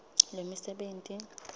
lwemisebenti